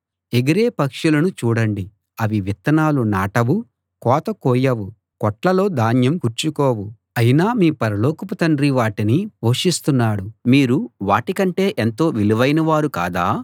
ఎగిరే పక్షులను చూడండి అవి విత్తనాలు నాటవు కోత కోయవు కొట్లలో ధాన్యం కూర్చుకోవు అయినా మీ పరలోకపు తండ్రి వాటిని పోషిస్తున్నాడు మీరు వాటికంటే ఎంతో విలువైన వారు కాదా